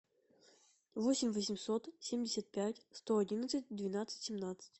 восемь восемьсот семьдесят пять сто одинадцать двенадцать семнадцать